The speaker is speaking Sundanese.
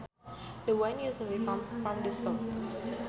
The wind usually comes from the south